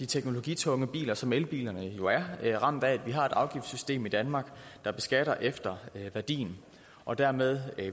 teknologitunge biler som elbilerne jo er ramt af at vi har et afgiftssystem i danmark der beskatter efter værdi og dermed